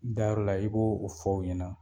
Da yɔrɔla i b'o o fɔ o ɲɛna